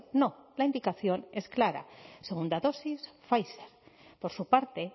no la indicación es clara segunda dosis pfizer por su parte